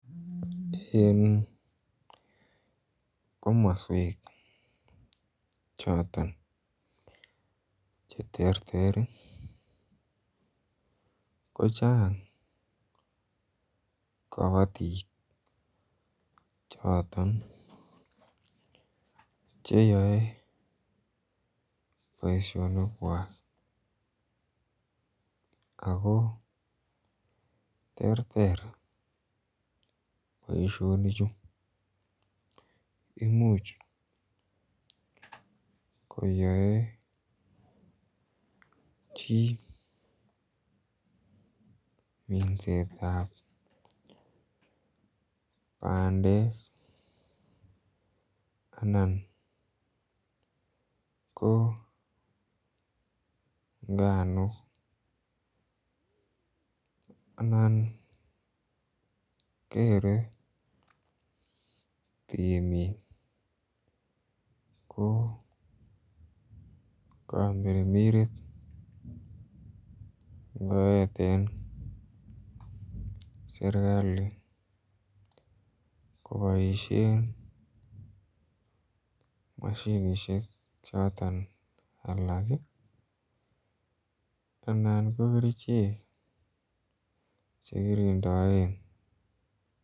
En komoswek choton Che terter kochang kabatik choton Che yoe boisionik kwak ago terter boisinichu Imuch koyoe chi minset ab bandek anan ko nganuk anan kere temik ko komirmiret ngoeten serkali koboisien mashinisiek choton alak anan ko kerichek chekirondoen